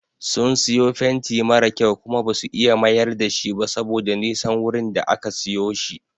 Sun siyo fenti mara kyau Kuma basu iya mayar dashi ba saboda Nisan wurin da aka siyo shi.